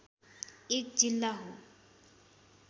एक जिल्ला हो